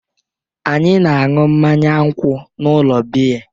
Anyị na-aṅụ mmanya nkwụ n'ụlọ biya.